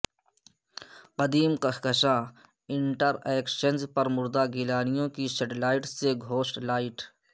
قدیم کہکشاں انٹرایکشنز پر مردہ گیلانیوں کی شیڈ لائٹس سے گھوسٹ لائٹ